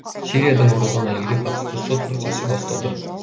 сириядан оралған әйелге қатысты сот процесі басталды